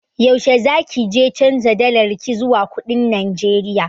Yaushe za kije canja dalarki zuwa kuɗin Najeriya?